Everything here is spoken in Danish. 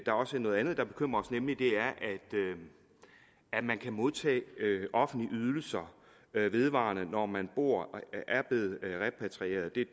er også noget andet der bekymrer os nemlig at man kan modtage offentlige ydelser vedvarende når man er blevet repatrieret det